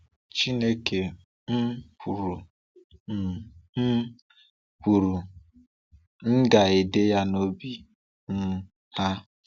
Chineke um kwuru, “M um kwuru, “M ga-ede ya n’obi um ha.”